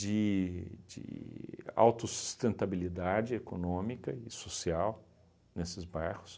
de de autossustentabilidade econômica e social nesses bairros.